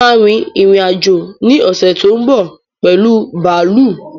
Mo ma rin ìrìn-àjò ní ọ̀ṣè tó ń bọ̀ pẹ̀lu bààlú